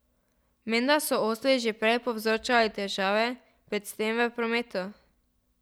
Menda so osli že prej povzročali težave, predvsem v prometu.